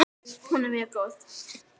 Fram undan er niðurskurður hjá félaginu